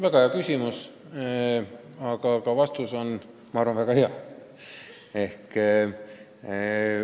Väga hea küsimus, aga ma arvan, et ka vastus on väga hea.